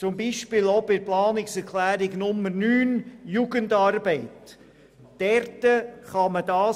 Dies gilt zum Beispiel auch für die Jugendarbeit gemäss Planungserklärung 9.